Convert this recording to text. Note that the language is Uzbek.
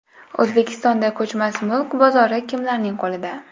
O‘zbekistonda ko‘chmas mulk bozori kimlarning qo‘lida?.